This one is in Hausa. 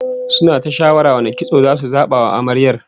Suna ta shawara wane irin kitso zasu zaba wa Amaryar